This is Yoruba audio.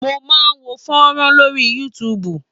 Mo máa ń wo fọ́nrán lórí YouTube.